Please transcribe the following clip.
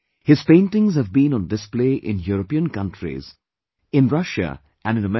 His paintings have been on display in European countries, in Russia and in America